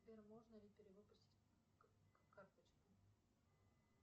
сбер можно ли перевыпустить карточку